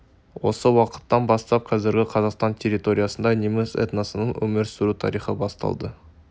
осы уақыттан бастап қазіргі қазақстан территориясында неміс этносының өмір сүру тарихы басталады